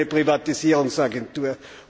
durch eine Privatisierungs Agentur.